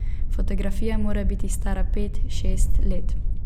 Fotografija mora biti stara pet, šest let.